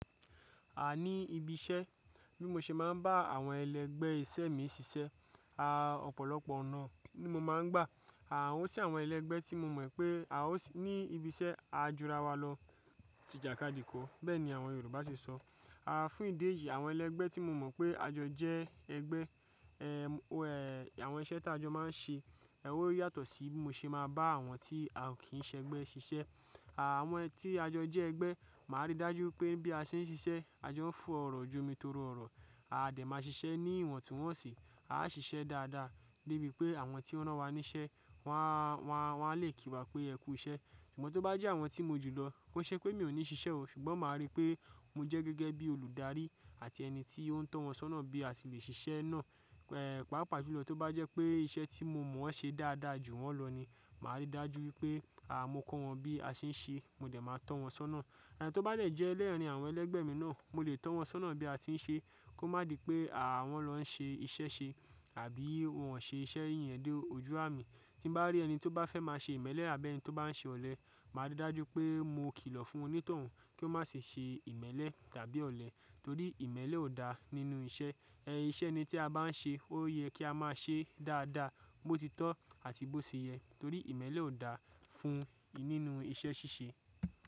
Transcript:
A ní ibi iṣẹ́ bí mo ṣe máa ń bá àwọn ẹlẹgbẹ́ iṣẹ́ mi ṣiṣẹ́, a ọ̀pọ̀lọpọ̀ ọ̀nà ni mo máa ń gbà. Àwọn sì àwọn ẹlẹgbẹ́ tí mo mọ̀ pé a ò ní ibi iṣẹ́ a jura wa lọ, tí ìjàkadì kọ́, bẹ́ẹ̀ ni àwọn Yorùbá ṣe sọ. À fún ìdí èyí, àwọn ẹlẹgbẹ́ tí mo mọ̀ pé a jọ jẹ́ ẹgbẹ́, ẹ, o ẹ, àwọn iṣẹ́ tí a jọ máa ń ṣe, ẹ ó yàtọ̀ sí bí mo ṣe máa bá àwọn tí a kì í ṣẹgbẹ́ ṣiṣẹ́. Àwọn tí a jọ jẹ́ ẹgbẹ́, màá rí dájú pé bí a ṣe ń ṣiṣẹ́, a jọ ń fọ ọ̀rọ̀ ju mi torí ọ̀rọ̀, a dẹ̀ máa ṣiṣẹ́ ní ìwọ̀ntúnwọnsì, a ṣiṣẹ́ dáadáa débi pé àwọn tí o rán wa níṣẹ́ wọ́n a, wọ́n a lè kí wa pé ẹkú iṣẹ́. Ṣùgbọ́n tó bá jẹ́ àwọn tí mo jù lọ, ko ṣe pé mi ò ní ṣiṣẹ́ o ṣùgbọ́n màá rí pé mo jẹ́ gẹ́gẹ́ bí olùdarí àti ẹni tí ó ń tọ̀ wọ́n sọ́nà bí a ṣe lè ṣiṣẹ́ náà. Ẹ̀ pàápàá jùlọ tó bá jẹ́ pé iṣẹ́ tí mo mọ̀ ọ́n ṣe dáadáa ju wọn lọ ni, màá rí dájú wípé a mo kọ́ wọn bí a ṣe ń ṣe, mo dẹ̀ máa tọ̀ wọn sọ́nà. Tó bá lè jẹ́ lẹ́ẹ̀rín àwọn ẹlẹgbẹ́ mi náà, mo lè tọ̀ wọn sọ́nà bí a ti ń ṣe kó má di pé àwọn lọ́ ń ṣe iṣẹ́ ṣe àbí wọn ṣe iṣẹ́ yẹn dé ojú àmì. Tí n bá rí ẹni tó bá fẹ́ máa ṣe ìmẹ́lẹ́ àbí ẹni tó bá ń ṣe ọ̀lẹ, màá rí dájú pé mo kìlọ̀ fún onítọ̀hún kí ó má ṣe ṣe ìmẹ́lẹ́ tàbí ọ̀lẹ torí ìmẹ́lẹ́ ò da nínú iṣẹ́. Ẹ iṣẹ́ ẹni tí a bá n ṣe ó yẹ kí a máa ṣe dáadáa, bó ti tó àti bó ṣe yẹ torí ìmẹ́lẹ́ ò da fún nínú iṣẹ́ ṣíṣe.